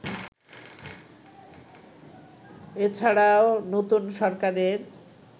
এছাড়াও নতুন সরকারের